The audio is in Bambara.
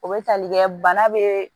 O bɛ tali kɛ bana be